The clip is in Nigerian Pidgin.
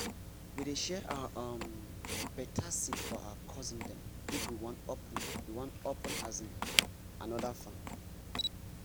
we dey share our um better seed for our cousin dem if we wan open we wan open um another farm